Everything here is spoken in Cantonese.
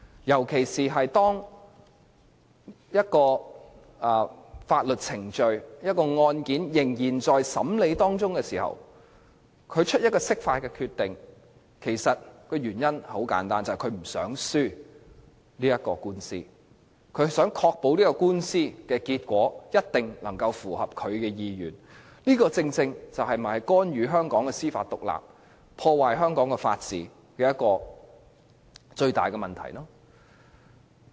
如果釋法的決定是在法律程序仍在進行或案件仍在審理期間作出的，原因十分簡單，就是不想輸掉官司，希望確保官司的結果能夠符合其意願，而這正是干預香港司法獨立、破壞香港法治的最大問題所在。